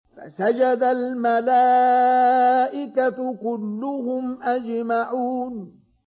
فَسَجَدَ الْمَلَائِكَةُ كُلُّهُمْ أَجْمَعُونَ